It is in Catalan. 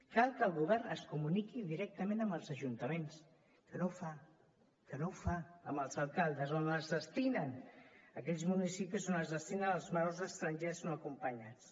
cal que el govern es comuniqui directament amb els ajuntaments que no ho fa que no ho fa amb els alcaldes d’aquells municipis on es destinen els menors estrangers no acompanyats